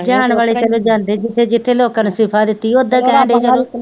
ਜਾਣ ਵਾਲੇ ਚੱਲੋਂ ਜਾਂਦੇ ਜਿੱਥੇ ਜਿੱਥੇ ਲੋਕਾਂ ਨੇ ਦਿੱਤੀ ਉੱਧਰ